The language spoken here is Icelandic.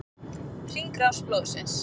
Hringrás blóðsins.